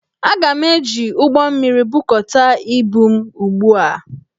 Aga m eji ụgbọmmiri, bukọta ibu m ugbu a!